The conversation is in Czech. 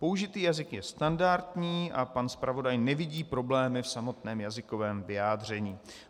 Použitý jazyk je standardní a pan zpravodaj nevidí problémy v samotném jazykovém vyjádření.